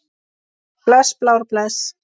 Bless Blár, bless.